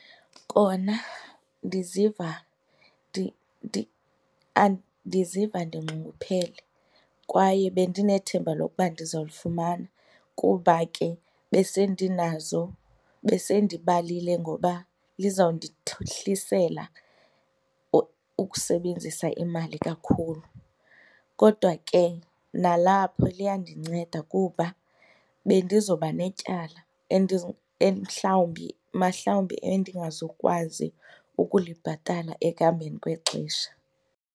Kona ndiziva ndiziva ndinxunguphele kwaye bendinethemba lokuba ndizalifumana kuba ke besendinazo, besendibalile ngoba lizawundihlisela ukusebenzisa imali kakhulu. Kodwa ke nalapho liyandinceda kuba bendizobanetyala mhlawumbi mahlawumbi endingazukwazi ukulibhatala ekuhambeni kwexesha.